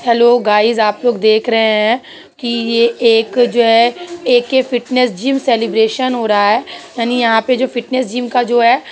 Hello guys आप लोग देख रहे हैं की ये एक जो है ए.के फिटनेस जिम सेलिब्रेशन हो रहा है यानि यहाँ पे फिटनेस जिम का जो है।